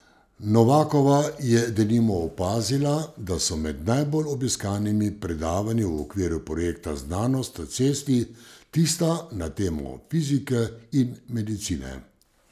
Novakova je denimo opazila, da so med najbolj obiskanimi predavanji v okviru projekta Znanost na cesti tista na temo fizike in medicine.